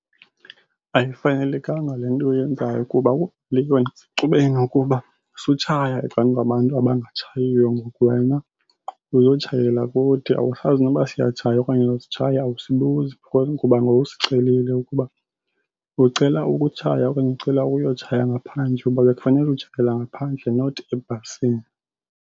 Ayifanelekanga le nto uyenzayo kuba le sutshaya ecang'kwabantu abangatshayiyo. Ngoku wena uzotshayela kuthi awusazi noba siyatshaya okanye asitshayi awusibuzi. Because kuba ngowusicelile ukuba ucela ukutshaya okanye ucela ukuyotshaya ngaphandle kuba bekufanele utshayela ngaphandle not ebhasini.